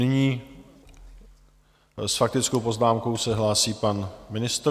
Nyní s faktickou poznámkou se hlásí pan ministr.